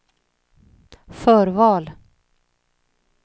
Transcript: förval